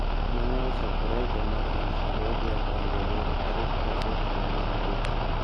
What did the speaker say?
Ma ne ochakore higa mar aluf ariyo gi apar gaboro tarik pradek dwe mar adek